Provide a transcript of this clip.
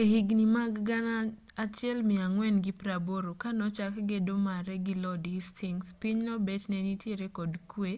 e higni mag 1480 ka nochak gedo mare gi lord hasytings pinyno bet ne nitiere kod kwe